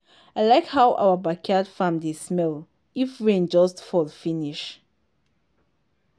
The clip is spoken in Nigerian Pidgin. i like how our backyard farm dey smell if rain just fall finish